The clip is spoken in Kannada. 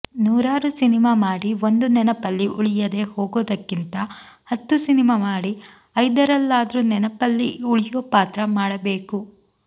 ನೂರಾರು ಸಿನಿಮಾ ಮಾಡಿ ಒಂದೂ ನೆನಪಲ್ಲಿ ಉಳಿಯದೇ ಹೋಗೋದಕ್ಕಿಂತ ಹತ್ತು ಸಿನಿಮಾ ಮಾಡಿ ಐದರಲ್ಲಾದ್ರೂ ನೆನಪಲ್ಲಿ ಉಳಿಯೋ ಪಾತ್ರ ಮಾಡ್ಬೇಕು